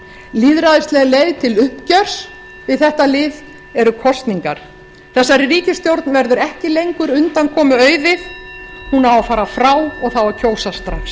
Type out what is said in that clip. lýðræðislega leið til uppgjörs því þetta hlið eru kosningar þessari ríkisstjórn verður ekki lengur undankomu auðið hún á að fara frá og það á að kjósa strax